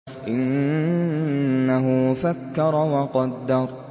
إِنَّهُ فَكَّرَ وَقَدَّرَ